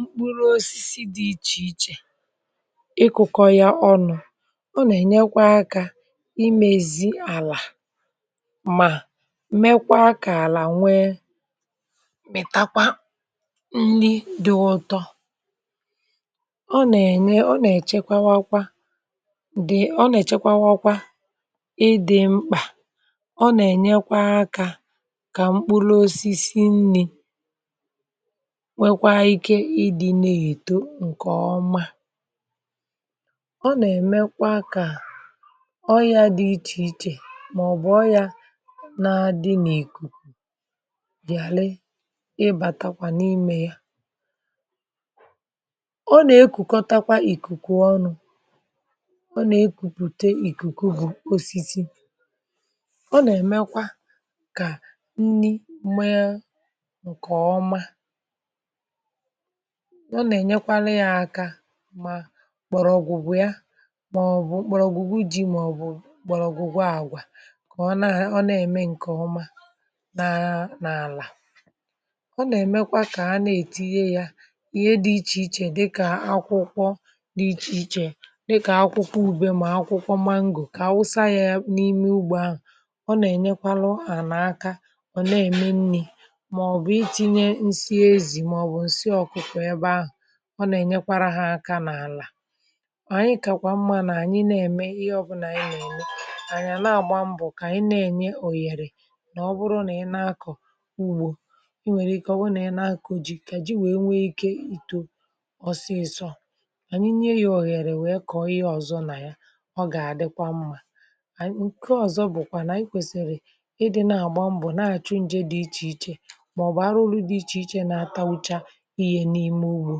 Mkpụrụ osisi dị ichè ichè ịkụ̇kọ̇ ya ọnụ̇. Ọ nà-ènyekwa akȧ imèzì àlà mà mekwa kȧ àlà nwee mìtakwa nri dị̇ ọtọ, ọ nà-ènye, ọ nà-èchekwawakwa dị̀, ọ nà-èchekwawakwa ịdị̇ mkpà, ọ nà-ènyekwa akȧ kà mkpụrụ osisi nri̇ nwekwa ike ịdị na-eto ǹkè ọma, ọ nà-èmekwa kà ọyȧ dị ichè ichè mà ọ̀ bụ̀ ọyȧ na-adị n’ìkùkù ghara ịbàtakwa n’imė ya, ọ nà-ekùkọtakwa ìkùkù ọnụ̇, ọ nà-ekùpùte ìkùkù bù osisi, ọ nà-èmekwa kà nni mee ǹkè ọma, ọ nà-ènyekwara aka mà mgbọrọ̀gwụ̀gwu ya màọ̀bụ̀ mgbọrọ̀gwụ̀ ji màọ̀bụ̀ mgbọrọ̀gwụ̀gwu àgwà kà ọ nà ha ọ nà-ème ǹkè ọma nà n'àlà, ọ nà-èmekwa kà ha nà-ètinye ya ihe dị ichè ichè dịkà akwụkwọ dị ichè ichè dịkà akwụkwọ ùbe mà akwụkwọ mango kà a wụsa ya ebe n’ime ugbo ahụ̀, ọ nà-ènyekwalu ànà aka ọ nà-ème nni̇ màọ̀bụ̀ itinye nsị ezì màọ̀bụ̀ ǹsị ọkụkọ ebe ahụ, ọ nà-ènyekwara hȧ aka n’àlà, ànyi kà kwà mma nà ànyi na-ème ihe ọbụnà ị nà-ème ànyi na-àgba mbọ̀ kà ànyi na-ènye òghèrè nà ọbụrụ nà ị na-akọ̀ ugbȯ, i nwèrè ike ọ bụ nà ị na-akọ̀ ji̇ kà ji wèe nwee ikė ìtò ọsịịsọ, ka ànyi nye yȧ òghèrè wèe kọ̀ọ ihe ọ̀zọ nà ya ọ gà-àdịkwa mma, ànyi nke ọ̀zọ bụ̀kwà nà anyi kwèsìrì ịdị̇ na-àgba mbọ̀ na-àchụ njė dị ichè ichè màọbụ̀ arụru̇ dị ichè ichè na-atawucha ihe n'ime ụgbọ,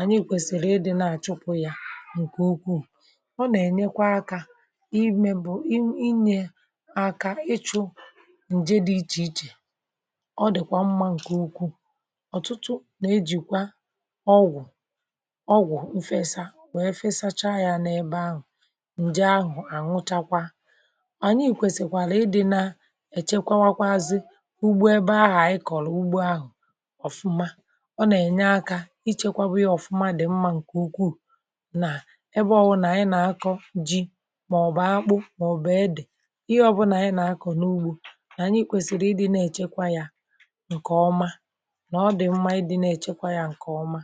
ànyị kwẹ̀sị̀rị̀ ịdị̇ na-achụpụ̀ ya ǹkè ukwuù, ọ nà ẹ̀nyẹkwa akȧ imė bụ̀ inyė àkà ịchụ̇ ǹjẹ dị̇ ichè ichè, ọ dị̀kwà mmȧ ǹkè ukwuù, ọ̀tụtụ nà-ejìkwa ọgwụ̀ ọgwụ̀ nfẹsaa nwèe fẹsacha yȧ n’ebe ahụ̀ ǹjẹ ahụ̀ ànwụchakwa, ànyị ìkwèsìkwàrà ịdị̇ na-echekwawakwazị ugbo ebe ahụ̀ ịkọ̀rọ̀ ugbo ahụ̀ ọfụma, ọ na-ényé aka ichekwaba ya ọfụma dị mma nke ukwuu na ebe ọwu na anyị na-akọ̀ ji maọ̀bụ̀ akpụ maọ̀bụ̀ edè ihe ọbụna anyị na-akọ̀ n’ugbo na anyị kwesiri ịdị̀ na-echekwa ya ǹkè ọma na ọdii mma ịdị̀ na-echekwa ya ǹkè ọma.